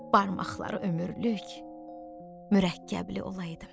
Barmaqları ömürlük mürəkkəbli olaydı.